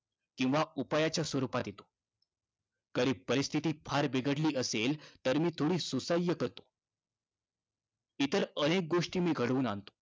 इतर अनेक गोष्टी मी घडवून आणतो किंवा उपायाच्या स्वरूपात येतो. तरी परिस्थिती फार बिघडली असेल तर मी थोडी सुसह्य करतो.